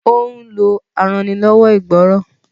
ó ń lo arannilọ́wọ́ ìgbọ́rọ̀.